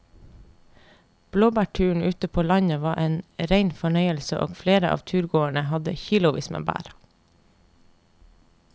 Blåbærturen ute på landet var en rein fornøyelse og flere av turgåerene hadde kilosvis med bær.